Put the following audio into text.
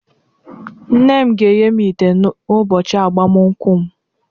Nne m ga-enye m ite n'ụbọchị agbamakwụkwọ m